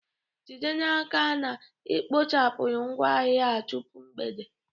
Jide n'aka na ị kpochapụrụ ngwaahịa a tupu mgbede!